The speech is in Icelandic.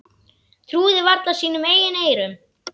Trúðu varla sínum eigin eyrum.